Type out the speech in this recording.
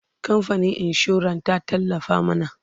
kamfanin insuran ta tallafa mana